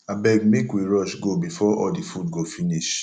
abeg make we rush go before all the food go finish